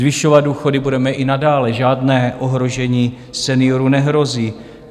Zvyšovat důchody budeme i nadále, žádné ohrožení seniorů nehrozí.